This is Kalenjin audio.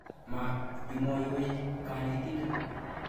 Ma mwoiwech kanetindet.